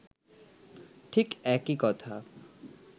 ঠিক একই কথা